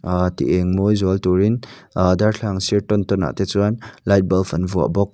ti eng mawi zual turin ah darthlalang sir tawn tawn ah te chuan light bulb an vuah bawk.